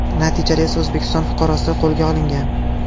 Natijada esa O‘zbekiston fuqarosi qo‘lga olingan.